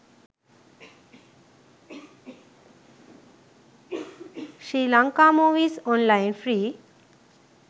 sri lanka movies online free